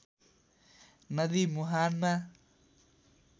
नदी मुहानमा